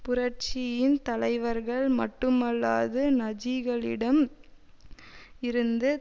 புரட்சியின் தலைவர்கள் மட்டுமல்லாது நஜிகளிடம் இருந்து